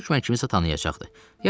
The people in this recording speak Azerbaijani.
orda hökmən kimisə tanıyacaqdı.